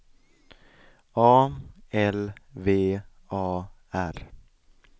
A L V A R